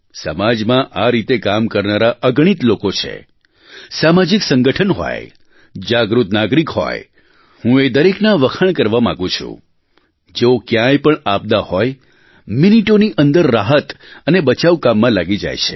સમાજમાં આ રીતે કામ કરનારા અગણિત લોકો છે સામાજિક સંગઠન હોય જાગૃત નાગરીક હોય હું એ દરેકના વખાણ કરવા માગુ છું જેઓ ક્યાંય પણ આપદા હોય મિનટોની અંદર રાહત અને બચાવ કામમાં લાગી જાય છે